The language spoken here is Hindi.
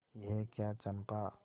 यह क्या चंपा